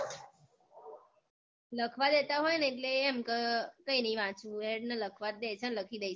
લખવા દેતા હોય ને એટલે એમ કઈ નઈ વાંચવું હેડ ને લખવાં દે છે ને લખી દઈશું